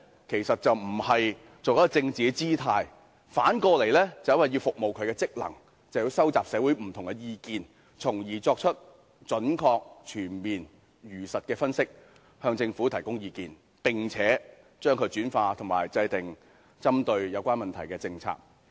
其實並非要擺甚麼政治姿態，而是因為若要發揮其職能，便須收集社會上的不同意見，從而作出準確、全面和如實的分析，向政府提供意見，用以制訂針對有關問題的政策。